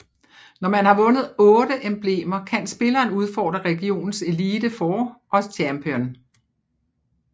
Når man har vundet otte emblemer kan spilleren udfordre regionens Elite Four og Champion